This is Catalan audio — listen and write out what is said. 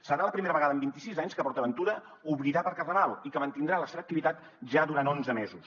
serà la primera vegada en vint i sis anys que port aventura obrirà per carnaval i que mantindrà la seva activitat ja durant onze mesos